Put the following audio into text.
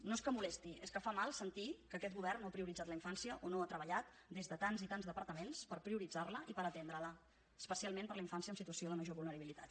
no és que molesti és que fa mal sentir que aquest govern no ha prioritzat la infància o no ha treballat des de tants i tants departaments per prioritzar la i per atendre la especialment per la infància en situació de major vulnerabilitat